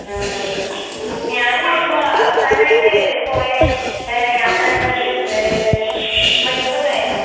ഉം ഉം. ഞാനുമിപ്പോ അവസാനായിട്ട് പോയ ഏ യാത്രാന്നത് ഏ മൈസൂരായിരുന്നു.